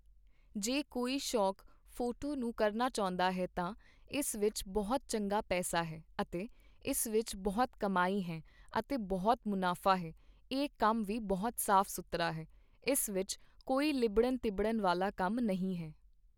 ਜੇ ਕੋਈ ਸ਼ੌਕ ਫੋਟੋ ਨੂੰ ਕਰਨਾ ਚਾਹੁੰਦਾ ਹੈ ਤਾਂ, ਇਸ ਵਿੱਚ ਬਹੁਤ ਚੰਗਾ ਪੈਸਾ ਹੈ ਅਤੇ ਇਸ ਵਿੱਚ ਬਹੁਤ ਕਮਾਈ ਹੈ ਅਤੇ ਬਹੁਤ ਮੁਨਾਫਾ ਹੈ I ਇਹ ਕੰਮ ਵੀ ਬਹੁਤ ਸਾਫ਼ ਸੁਥਰਾ ਹੈ, ਇਸ ਵਿੱਚ ਕੋਈ ਲਿੱਬੜਨ ਤਿਬੜਨ ਵਾਲ਼ਾ ਕੰਮ ਨਹੀਂ ਹੈ